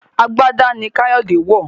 àgbàdá ní Kayode ń wọ.